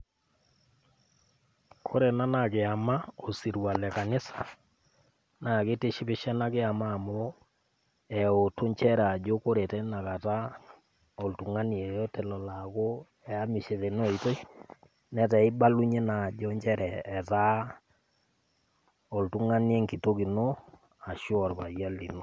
Kore ena naa kiama, osirua le kanisa naa keitishipisho ena kiamaa amu eutu enchere ajo ore tenakata oltung'ani yeyote lolo aaku eamishe tena oitoi, netaa eibalunye naa ajo inchere ajo etaa oltung'ani enkitook ashu olpayian lino.